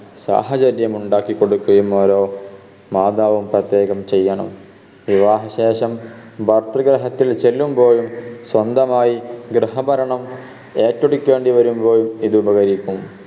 സാഹചര്യമുണ്ടാക്കി കൊടുക്കയും ഓരോ മാതാവും പ്രത്യേകം ചെയ്യണം വിവാഹ ശേഷം ഭർതൃഗ്രഹത്തിൽ ചെല്ലുമ്പോഴും സ്വന്തമായി ഗൃഹഭരണം ഏറ്റെടുക്കേണ്ടി വരുമ്പോഴും ഇത് ഉപകരിക്കും